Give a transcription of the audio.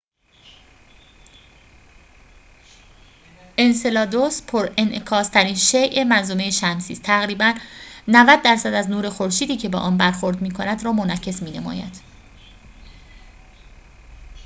انسلادوس پرانعکاس‌ترین شیء منظومه شمسی است تقریباً ۹۰ درصد از نور خورشیدی که به آن برخورد می‌کند را منعکس می‌نماید